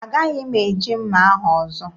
Agaghị m eji mma ahụ ọzọ.